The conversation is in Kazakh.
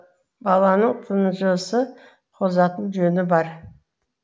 баланың тынжысы қозатын жөні бар